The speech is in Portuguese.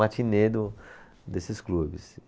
Matinê do, desses clubes.